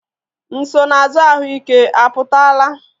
Nsonaazụ ahụike apụtala?